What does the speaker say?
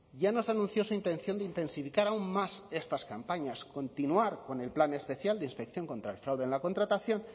ya nos anunció su intención de intensificar aún más estas campañas continuar con el plan especial de inspección contra el fraude en la contratación